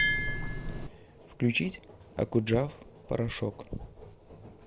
включить окуджав порошок